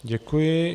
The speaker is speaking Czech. Děkuji.